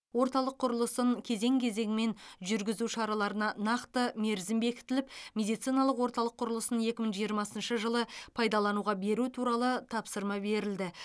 орталық құрылысын кезең кезеңімен жүргізу шараларына нақты мерзім бекітіліп медициналық орталық құрылысын екі мың жиырмасыншы жылы пайдалануға беру туралы тапсырма берілді